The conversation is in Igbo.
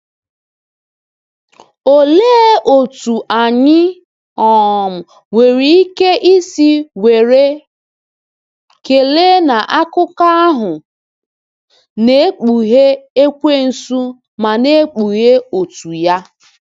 Olee otú anyị um nwere ike isi were ekele na akụkọ ahụ na-ekpughe Ekwensu ma na-ekpughe òtù ya!